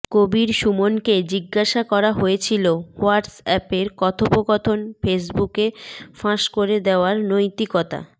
কবীর সুমনকে জিজ্ঞাসা করা হয়েছিল হোয়াটসঅ্যাপের কথোপকথন ফেসবুকে ফাঁস করে দেওয়ার নৈতিকতা